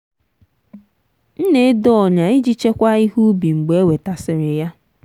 m na-edo ọnyà iji chekwaa ihe ubi mgbe e wetasịrị ya.